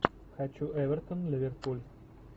хочу эвертон ливерпуль